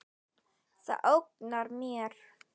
Það ógnar mér.